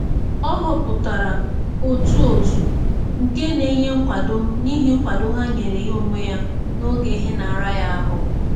Ọ họpụtara otu òtù nke na-enye nkwado n'ihi nkwado ha nyere ya onwe ya n'oge ihe na-ara ya ahụ